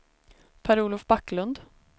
Per-Olof Backlund